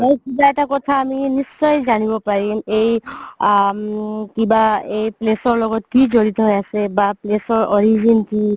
আৰু কিবা এটা কথা আমি নিশ্চয় জানিব পাৰিম এই আ... কিবা এই place ৰ লগত কি জৰিত হয় আছে বা place ৰ origin কি